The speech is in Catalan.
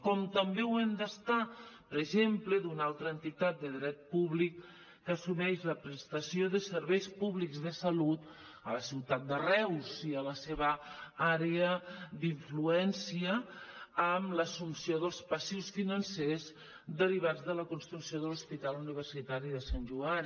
com també ho hem d’estar per exemple d’una altra entitat de dret públic que assumeix la prestació de serveis públics de salut a la ciutat de reus i a la seva àrea d’influència amb l’assumpció dels passius financers derivats de la construcció de l’hospital universitari de sant joan